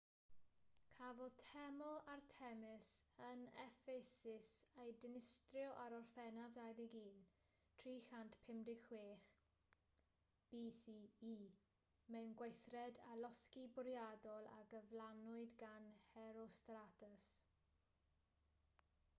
cafodd teml artemis yn effesus ei dinistrio ar orffennaf 21 356 bce mewn gweithred o losgi bwriadol a gyflawnwyd gan herostratus